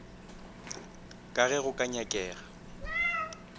ka ge go ka nyakega